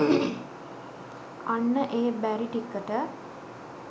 අන්න ඒ බැරිටිකට